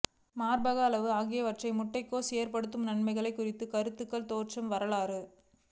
மார்பக அளவு ஆகியவற்றை முட்டைக்கோஸ் ஏற்படும் நன்மைகள் குறித்து கருத்து தோற்றம் வரலாறு